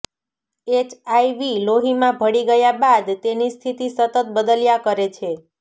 HIV લોહીમાં ભળી ગયા બાદ તેની સ્થિતિ સતત બદલ્યા કરે છે